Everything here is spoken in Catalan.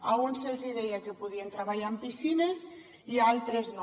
a uns se’ls hi deia que podien treballar en piscines i a altres no